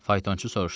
Faytonçu soruşdu: